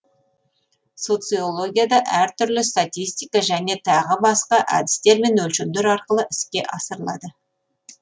социологияда әртүрлі статистика және тағы басқа әдістер мен өлшемдер арқылы іске асырылады